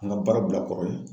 An ka baara bila kɔrɔ ye